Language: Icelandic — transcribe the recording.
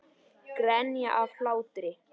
Grenja af hlátri.